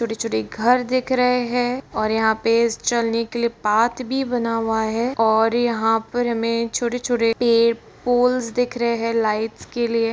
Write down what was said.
छोटे-छोटे घर दिख रहे है और यहां चलने के लिए पाथ भी बना हुआ है और यहां पर हमें छोटे-छोटे पे पोल्स दिख रहे है लाइट्स के लिए --